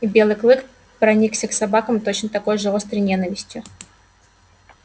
и белый клык проникся к собакам точно такой же острой ненавистью